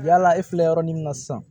Yala e filɛ yɔrɔ min na sisan